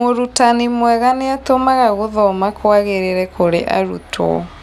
Mũrutani mwega nĩatũmaga gũthoma kwagĩrĩre kũrĩ arutwo